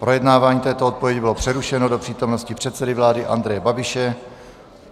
Projednávání této odpovědi bylo přerušeno do přítomnosti předsedy vlády Andreje Babiše.